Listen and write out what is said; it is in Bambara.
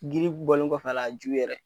Giribu bɔlen kɔfɛ a la, a ju yɛrɛ